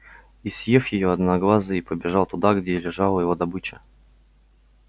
и съев её одноглазый побежал туда где лежала его добыча